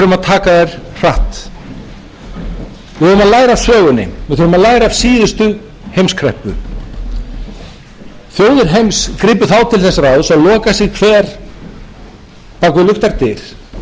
læra af síðustu heimskreppu þjóðir heims gripu þá til þess ráðs að loka sig hver bak við luktar dyr bak